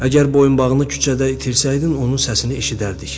Əgər boyunbağını küçədə itirsəydin, onun səsini eşidərdik.